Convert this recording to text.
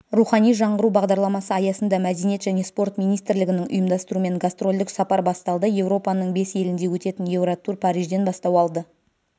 рухани жаңғыру бағдарламасы аясында мәдениет және спорт министрлігінің ұйымдастыруымен гастрольдік сапар басталды еуропаның бес елінде өтетін еуротур парижден бастау алды